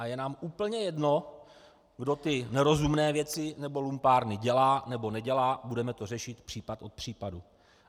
A je nám úplně jedno, kdo ty nerozumné věci nebo lumpárny dělá nebo nedělá, budeme to řešit případ od případu.